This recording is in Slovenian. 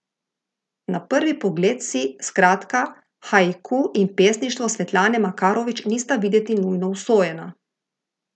Na prvi pogled si, skratka, haiku in pesništvo Svetlane Makarovič nista videti nujno usojena.